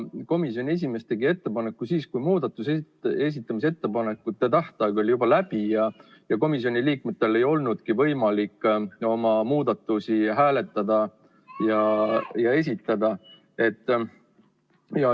Komisjoni esimees tegi ettepaneku siis, kui muudatuste esitamise tähtaeg oli juba läbi ja komisjoni liikmetel ei olnudki võimalik oma muudatusi esitada ja hääletada.